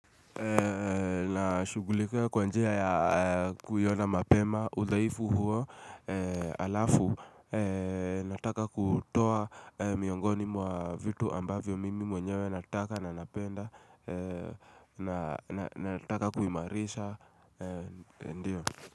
Na shughulikia kwa njia ya kuiona mapema, udhaifu huo, halafu, nataka kutoa miongoni mwa vitu ambavyo mimi mwenyewe nataka na napenda, nataka kuimarisha, ndio.